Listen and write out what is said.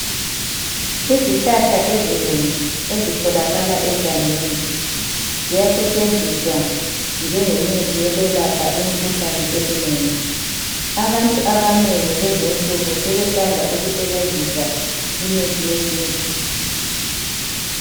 Izihlahla ezinengi ezitholakala egangeni ziyasetshenziswa njengemithi eyokwelapha imikhuhlane eminengi. Abantu abanengi lezinsuku sebethanda ukusebenzisa imithi yesintu.